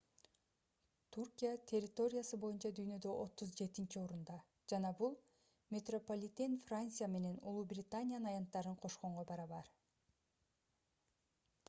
түркия территориясы боюнча дүйнөдө 37-орунда жана бул метрополитен франция менен улуу британиянын аянттарын кошконго барабар